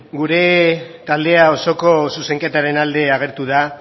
gure taldea osoko zuzenketaren alde agertu da